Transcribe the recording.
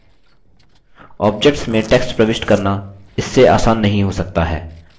objects में text प्रविष्ट करना इससे आसान नहीं हो सकता है